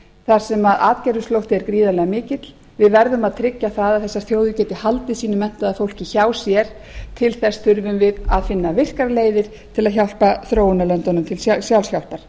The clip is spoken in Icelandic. þar sem atgervisflótti er gríðarlega mikill við verðum að tryggja að þessar þjóðir geti haldið sínu menntaða fólki hjá sér til þess þurfum við að finna virkar leiðir til að hjálpa þróunarlöndunum til sjálfshjálpar